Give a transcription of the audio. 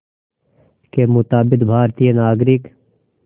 के मुताबिक़ भारतीय नागरिक